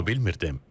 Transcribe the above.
Bunu bilmirdim.